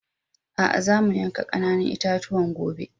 Aa, zamu yanka ƙananan itatuwan gobe.